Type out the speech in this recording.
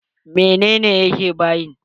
Menene yake bayin?